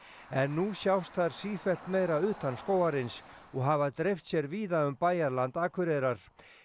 en nú sjást þær sífellt meira utan skógarins og hafa dreift sér víða um bæjarland Akureyrar